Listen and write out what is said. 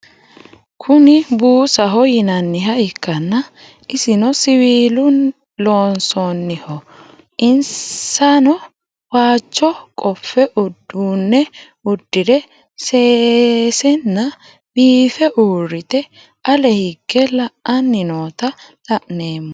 Kuni buusaho yinaniha ikana isino siwilu loonsoniho insano waajo qofe udune udire sesena biife urite ale hige la'ani noota la'nemo